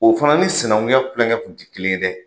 O fana ni sinankunya Kulonkɛ kun ti kelen ye dɛ!